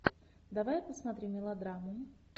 давай посмотрим мелодраму